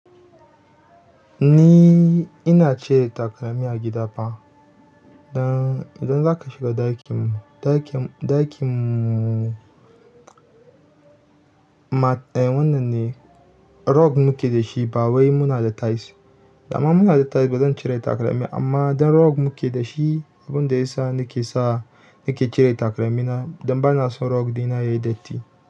Ni ina cire takalmi a gida fa. Idan za ka shiga ɗakin mu, ɗakin mu. Wannan ne rug muke da shi ba wai muna da tiles. Da ma muna da tiles ba zan cire takalmi, amma dan rug muke da shi, abin da ya sa nake sa nake cire takalmi na don bana son rug ɗina yayi datti.